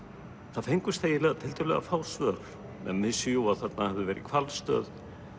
það fengust tiltölulega fá svör menn vissu jú að þarna hefði verið hvalstöð